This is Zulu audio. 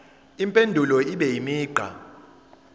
impendulo ibe imigqa